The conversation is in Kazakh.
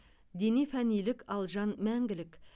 дене фәнилік ал жан мәңгілік